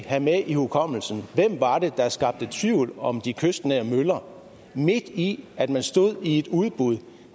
have med i hukommelsen hvem det var der skabte tvivl om de kystnære møller midt i at man stod i et udbud